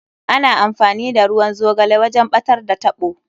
Ana amfani da ruwan zogale wajen ɓatar da taɓo.